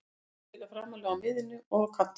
Hann getur spilað framarlega á miðjunni og á kantinum.